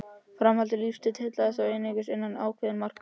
Framandi lífsstíll heillaði þó einungis innan ákveðinna marka.